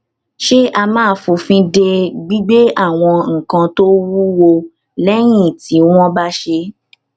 ṣé a máa fòfin de gbígbé àwọn nǹkan tó wúwo léyìn tí wón bá ṣé